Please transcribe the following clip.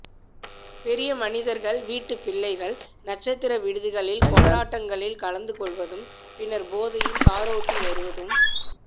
பெரிய மனிதர்கள் வீட்டு பிள்ளைகள் நட்சத்திர விடுதிகளில் கொண்டாட்டங்களில் கலந்துகொள்வதும் பின்னர் போதையில் காரோட்டி வருவதும்